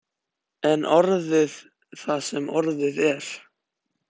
En orðið er það sem orðið er.